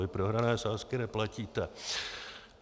Vy prohrané sázky neplatíte.